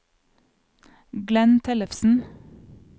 Glenn Tellefsen